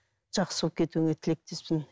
жақсы болып кетуіңе тілектеспін